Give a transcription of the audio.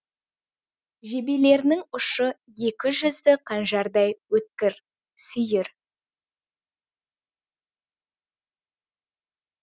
жебелерінің ұшы екі жүзді қанжардай өткір сүйір